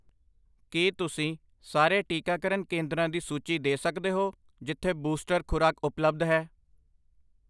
ਕੀ ਤੁਸੀਂ ਸਾਰੇ ਟੀਕਾਕਰਨ ਕੇਂਦਰਾਂ ਦੀ ਸੂਚੀ ਦੇ ਸਕਦੇ ਹੋ ਜਿੱਥੇ ਬੂਸਟਰ ਖੁਰਾਕ ਉਪਲਬਧ ਹੈ?